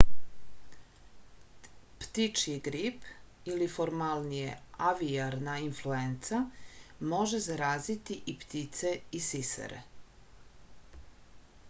ptičji grip ili formalnije avijarna influenca može zaraziti i ptice i sisare